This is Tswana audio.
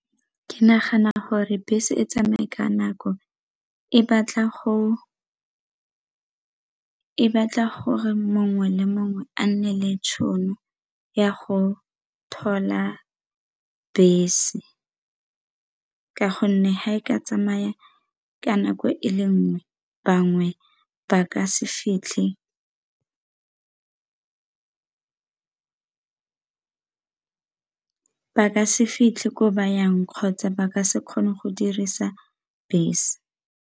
Ke nagana gore bese e tsamaye ka nako e batla gore mongwe le mongwe a nne le tšhono ya go thola bese ka gonne ha e ka tsamaya ka nako e le nngwe bangwe ba ka se fitlhe ko bayang kgotsa ba ka se kgone go dirisa bese.